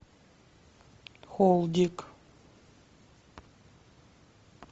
холдик